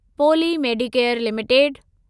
poli medicare limited